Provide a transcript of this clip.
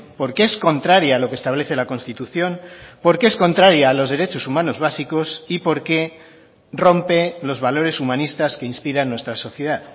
porque es contraria a lo que establece la constitución porque es contraria a los derechos humanos básicos y porque rompe los valores humanistas que inspiran nuestra sociedad